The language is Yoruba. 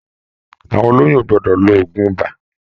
Àwọn oloyun o gbọdọ lò òògùn ibà.